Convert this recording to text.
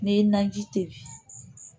N'i ye naji tɛ